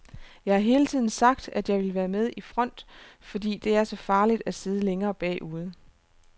Jeg har hele tiden sagt, at jeg ville være med i front, fordi det er så farligt at sidde længere bagude.